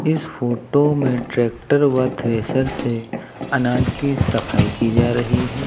इस फोटो में ट्रैक्टर व थ्रेसर से अनाज की सफाई की जा रही है।